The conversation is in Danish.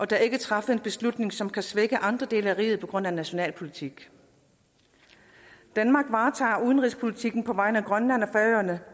der ikke træffes en beslutning som kan svække andre dele af riget på grund af national politik danmark varetager udenrigspolitikken på vegne af grønland og færøerne